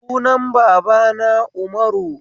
Sunan babana Umaru